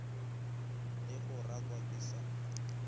le go rakwa ke sa